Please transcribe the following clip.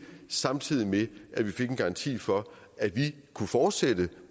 samtidig med at vi fik en garanti for at vi kunne fortsætte